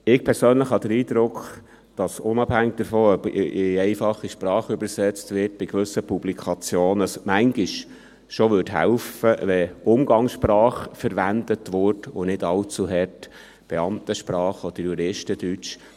Ich persönlich habe den Eindruck, dass unabhängig davon, ob in einfache Sprache übersetzt wird, es bei gewissen Publikationen manchmal bereits hälfe, wenn Umgangssprache verwendet würde und nicht allzu sehr Beamtensprache oder Juristendeutsch.